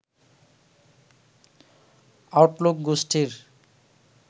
Outlook গোষ্ঠীর